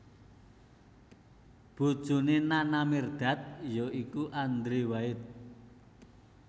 Bojoné Nana Mirdad ya iku Andrew White